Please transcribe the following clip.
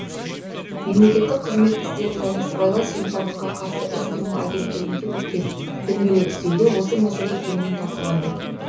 мемлекеттік қызмет істері және сыбайлас жемқорлыққа қарсы іс қимыл агенттігінде өткен дөңгелек үстелде осы мәселе кеңінен талқыланды